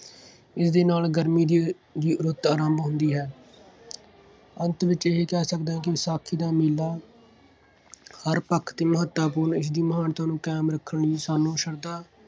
ਇਸ ਦੇ ਨਾਲ ਗਰਮੀ ਦੀ ਅਹ ਦੀ ਰੁੱਤ ਆਰੰਭ ਹੁੰਦੀ ਹੈ। ਅੰਤ ਵਿੱਚ ਇਹ ਕਹਿ ਸਕਦੇ ਹਾਂ ਕਿ ਵਿਸਾਖੀ ਦਾ ਮੇਲਾ ਹਰ ਪੱਖ 'ਤੇ ਮਹੱਤਤਾਪੂਰਨ, ਇਸਦੀ ਮਹਾਨਤਾ ਨੂੰ ਕਾਇਮ ਰੱਖਣ ਲਈ ਸਾਨੂੰ ਸ਼ਰਧਾ